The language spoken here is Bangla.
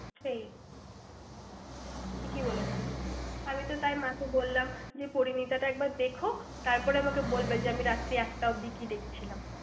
সেই, ঠিকই বলেছিস। আমি তো তাই মাকে বললাম, যে পরিমিতা একবার দেখো। তারপরে আমাকে বলবে, যে আমি রাত্রি একটা অবধি কি দেখছিলাম?